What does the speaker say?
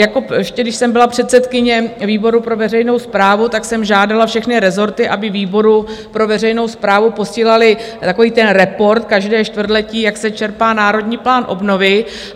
Ještě když jsem byla předsedkyně výboru pro veřejnou správu, tak jsem žádala všechny rezorty, aby výboru pro veřejnou správu posílaly takový ten report každé čtvrtletí, jak se čerpá Národní plán obnovy.